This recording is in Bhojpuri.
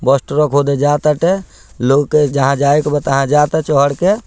बोस ट्रोक होदे जात हटे लोग के जहां जायक बताह जाता चहोड़ के।